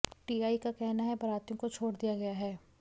TI का कहना है बारातियों को छोड़ दिया गया है